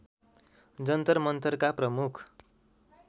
जन्तर मन्तरका प्रमुख